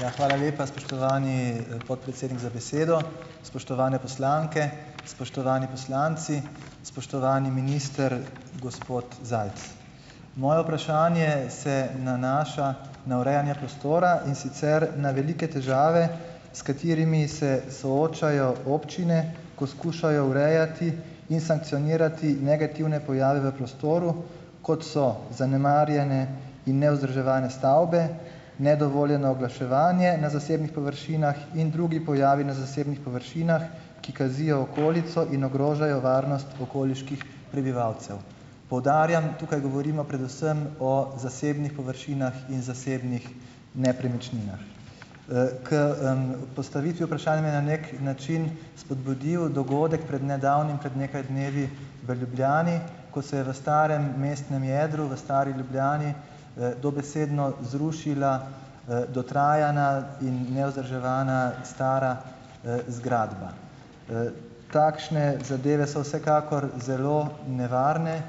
Ja, hvala lepa, spoštovani, podpredsednik za besedo . Spoštovane poslanke, spoštovani poslanci, spoštovani minister, gospod Zajc . Moje vprašanje se nanaša na urejanje prostora, in sicer na velike težave, s katerimi se soočajo občine, ko skušajo urejati in sankcionirati negativne pojave v prostoru, kot so zanemarjene in nevzdrževane stavbe, nedovoljeno oglaševanje na zasebnih površinah in drugi pojavi na zasebnih površinah, ki kazijo okolico in ogrožajo varnost okoliških prebivalcev. Poudarjam, tukaj govorimo predvsem o zasebnih površinah in zasebnih nepremičninah . k, postavitvi vprašanja na neki način spodbudil dogodek pred nedavnim, pred nekaj dnevi v Ljubljani, ko se je v starem mestnem jedru, v stari Ljubljani, dobesedno zrušila, dotrajana in nevzdrževana stara, zgradba. takšne zadeve so vsekakor zelo nevarne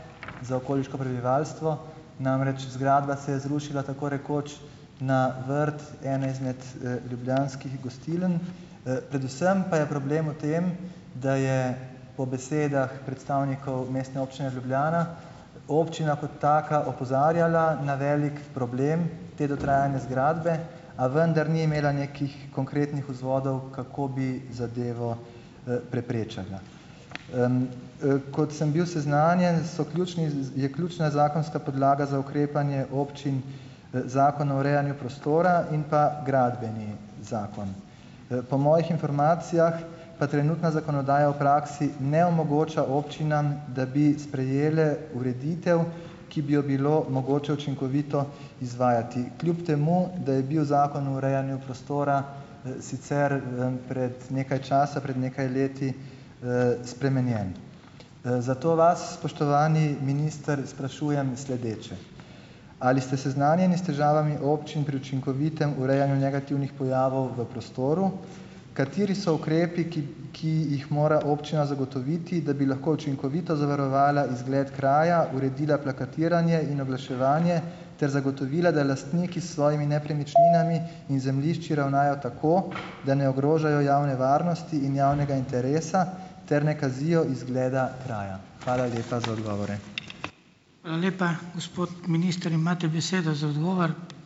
za okoliško prebivalstvo, namreč zgradba se je zrušila tako rekoč na vrt ene izmed, ljubljanskih gostiln, predvsem pa je problem v tem, da je, po besedah predstavnikov Mestne občine Ljubljana, občina kot taka opozarjala na velik problem te dotrajane zgradbe, a vendar ni imela nekih konkretnih vzvodov, kako bi zadevo, preprečila. kot sem bil seznanjen, so ključni, je ključna zakonska podlaga za ukrepanje občin. Zakon o urejanju prostora in pa Gradbeni zakon. po mojih informacijah pa trenutna zakonodaja v praksi ne omogoča občinam, da bi sprejele ureditev, ki bi jo bilo mogoče učinkovito izvajati. Kljub temu, da je bil Zakon o urejanju prostora, sicer, pred nekaj časa, pred nekaj leti, spremenjen. zato vas, spoštovani minister, sprašujem sledeče. Ali ste seznanjeni s težavami občin pri učinkovitem urejanju negativnih pojavov v prostoru? Kateri so ukrepi, ki jih mora občina zagotoviti, da bi lahko učinkovito zavarovala izgled kraja, uredila plakatiranje in oglaševanje , ter zagotovila, da lastniki s svojimi nepremičninami in zemljišči ravnajo tako, da ne ogrožajo javne varnosti in javnega interesa, ter ne kazijo izgleda kraja. Hvala lepa za odgovore . Hvala lepa. Gospod minister, imate besedo za odgovor.